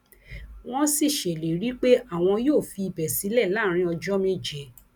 wọn sì ṣèlérí pé àwọn yóò fi ibẹ sílẹ láàrin ọjọ méje